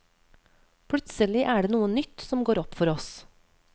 Plutselig er det noe nytt som går opp for oss.